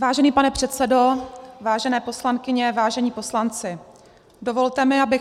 Vážený pane předsedo, vážené poslankyně, vážení poslanci, dovolte mi, abych